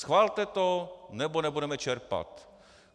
Schvalte to, nebo nebudeme čerpat.